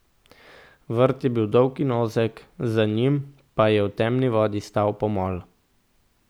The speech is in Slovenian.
Vrt je bil dolg in ozek, za njim pa je v temni vodi stal pomol.